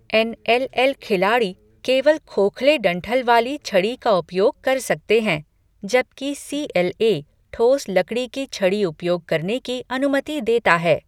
N L L खिलाड़ी केवल खोखले डंठल वाली छड़ी का उपयोग कर सकते हैं, जबकि सी एल ए ठोस लकड़ी की छड़ी उपयोग करने की अनुमति देता है।